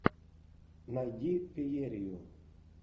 найди феерию